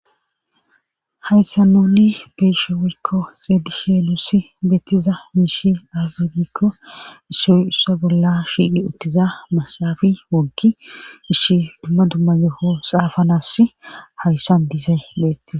hayssa noni beishe weykko xeedi sheelussi bettiza miishi azzugikko issoyussa bolla shiidhi uttiza masafi woggi ishi dumma dumma yeho xaafanas hayssan dizay beetti